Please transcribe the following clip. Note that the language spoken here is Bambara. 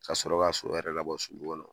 Ka sɔrɔ k'a so yɛrɛ labɔ sulu kɔnɔ